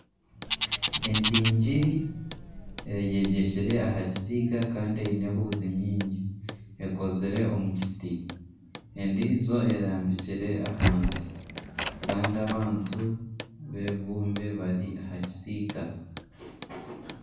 Endingidi eyegyekire aha kisiika kandi eine ehuuzi nyingi ekozire omu kiti, endiijo erambikire ahansi. Kandi abantu b'ebibumbe bari aha kisiika